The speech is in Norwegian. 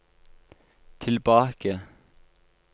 tilbake